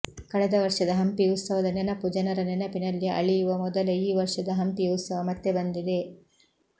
ಕಳೆದ ವರ್ಷದ ಹಂಪಿ ಉತ್ಸವದ ನೆನಪು ಜನರ ನೆನಪಿನಲ್ಲಿ ಅಳಿಯುವ ಮೊದಲೆ ಈ ವರ್ಷದ ಹಂಪಿ ಉತ್ಸವ ಮತ್ತೆ ಬಂದಿದೆ